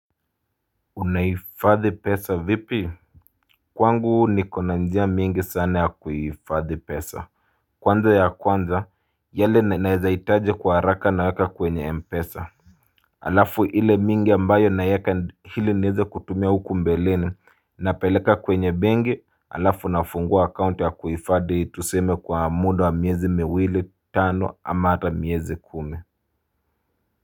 Unaifadhi pesa vipi? Kwangu ni kona njia mingi sana ya kuifadhi pesa. Kwanza ya kwanza yale naezaitaje kwa haraka naweka kwenye mpesa. Alafu ile mingi ambayo naieka hili nieze kutumia huku mbeleni napeleka kwenye benki. Alafu nafungua akaunti ya kuifadhi tuseme kwa muda wa miezi miwili tano ama ata miezi kumi.